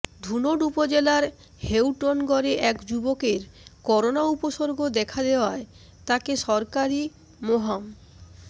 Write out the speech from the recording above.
ধুনট উপজেলার হেউটনগরে এক যুবকের করোনা উপসর্গ দেখা দেয়ায় তাকে সরকারি মোহাম